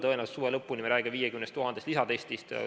Tõenäoliselt suve lõpuni me räägime 50 000 lisatestist.